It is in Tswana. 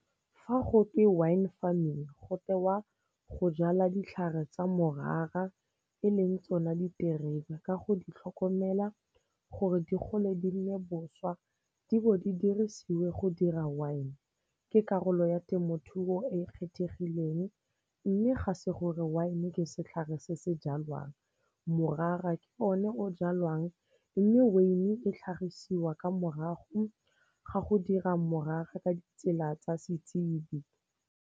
Fa go te wine farming go tewa go jala ditlhare tsa morara e leng tsona diterebe ka go di tlhokomela gore di gole di nne boswa, di bo di dirisiwe go dira wine. Ke karolo ya temothuo e kgethegileng mme ga se gore wine-e ke setlhare se se jalwang, morara ke o ne o jalwang mme veine e tlhagisiwa ka morago ga go dira morara ka ditsela tsa setsibe.